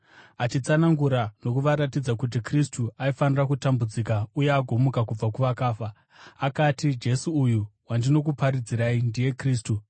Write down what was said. achitsanangura nokuvaratidza kuti Kristu aifanira kutambudzika uye agomuka kubva kuvakafa. Akati, “Jesu uyu wandinokuparidzirai ndiye Kristu.”